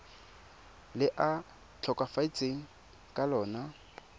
le a tlhokafetseng ka lona